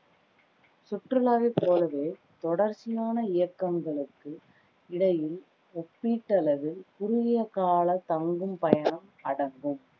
சுற்றுலாவை போலவே தொடர்ச்சியான இயக்கங்களுக்கு இடையில் ஓப்பீட்டளவில் குறுகிய கால தங்கும் பயணம் அடங்கும்